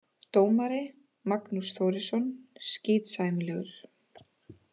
Dómari: Magnús Þórisson, skítsæmilegur.